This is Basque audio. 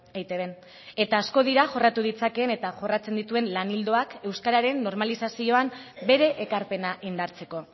eitbn eta asko dira jorratu ditzakeen eta jorratzen dituen lan ildoak euskararen normalizazioan bere ekarpena indartzeko